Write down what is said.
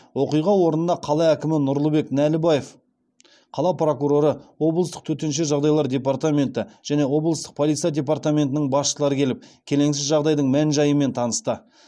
оқиға орнына қала әкімі нұрлыбек нәлібаев қала прокуроры облыстық төтенше жағдайлар департаменті және облыстық полиция департаментінің басшылары келіп келеңсіз жағдайдың мән жайымен танысты